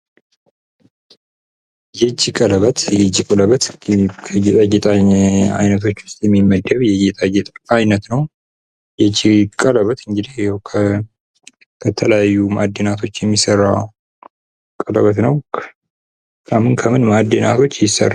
የእጅ ቀለበት የእጅ ቀለበት ከጌጣጌጥ አይነቶች ዉስጥ የሚመደብ የጌጣጌጥ አይነት ነው። የእጅ ቀለበት እንግዲህ ከተለያየ ማእድናቶች የሚሰራ ቀለበት ነው። ከምን ከምን ማእድናቶች ይሰራል?